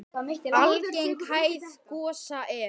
Algeng hæð gosa er